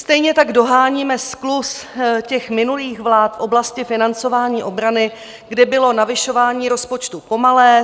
Stejně tak doháníme skluz těch minulých vlád v oblasti financování obrany, kde bylo navyšování rozpočtu pomalé.